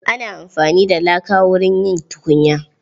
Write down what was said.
Ana amfani da laka wurin yin tukunya.